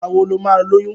Ìgbà wo lo ma lóyún?